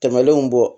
Tɛmɛnenw bɔ